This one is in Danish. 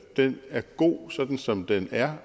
den er god sådan som den er